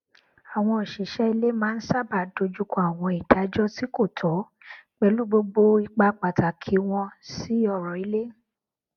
àwọn òṣìṣẹ ilé maá n sábà dojùkọ àwọn ìdájọ tí kò tọ pẹlú gbogbo ipa pàtàkì wọn sí ọrọ ilé